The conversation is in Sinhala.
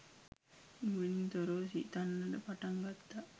නුවණින් තොරව සිතන්නට පටන් ගත්තා